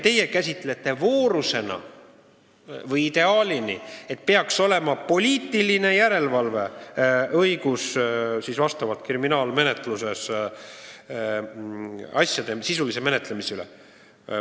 Teie käsitate voorusena või ideaalina seda, et peaks olema poliitiline järelevalve kriminaalmenetluses asjade sisulise menetlemise üle.